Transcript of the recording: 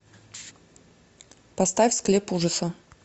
поставь склеп ужаса